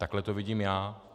Takhle to vidím já.